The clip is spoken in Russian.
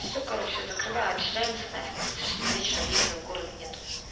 всё короче я закрываю от челябинска нафиг после шести вечера въезда в город нету